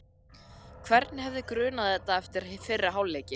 Hvern hefði grunað þetta eftir fyrri hálfleikinn?